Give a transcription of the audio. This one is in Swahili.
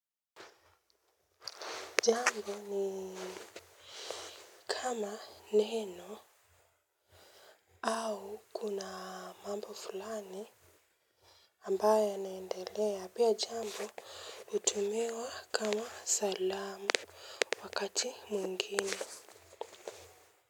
Jambo ni kama neno au kuna mambo fulani ambayo yanaendelea pia jambo utumiwa kama salamu wakati mwingine.